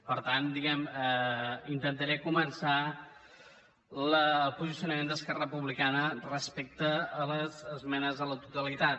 per tant diguem ne intentaré començar el posicionament d’esquerra republicana respecte a les esmenes a la totalitat